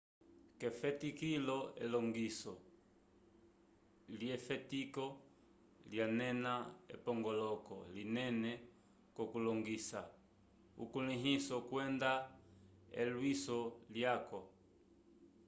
k'efetikilo elongiso lyefetiko lyanena epongoloko linene k'okulongisa ukulĩhiso kwenda elwiso lyaco